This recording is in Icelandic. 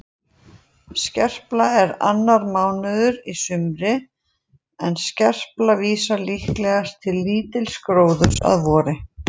Skerpla er annar mánuður í sumri en skerpla vísar líklegast til lítils gróðurs að vori.